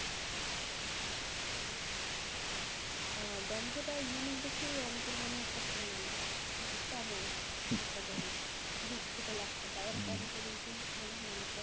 আহ গন্ধটা unique দেখেই অনেকের মনেহয় পছন্দ না। কিন্তু কেমন একটা গন্ধ বিদঘুটে লাগতেছে। আবার যাবে অনেকের মনে হয়